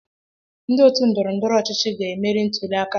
Ndị otu ndọrọ ndọrọ ọchịchị m ga emeri ntuli aka a.